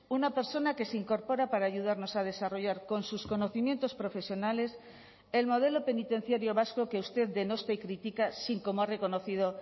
una persona que se incorpora para ayudarnos a desarrollar con sus conocimientos profesionales el modelo penitenciario vasco que usted denosta y critica sin como ha reconocido